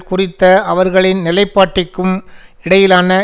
குறித்த அவர்களின் நிலைப்பாட்டிக்கும் இடையிலான